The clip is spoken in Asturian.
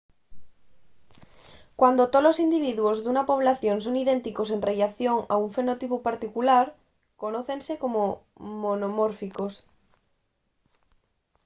cuando tolos individuos d’una población son idénticos en rellación a un fenotipu particular conócense como monomórficos